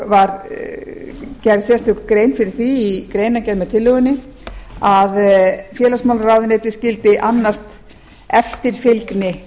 var gerð sérstök grein fyrir því í greinargerð með tillögunni að félagsmálaráðuneytið skyldi annast eftirfylgni